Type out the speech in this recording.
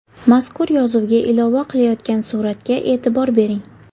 Mazkur yozuvga ilova qilayotgan suratga e’tibor bering.